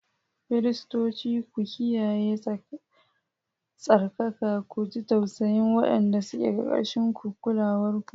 Firistoci, ku kiyaye tsarkaka, ku ji tausayin waɗanda suke ƙarƙashin kulawarku.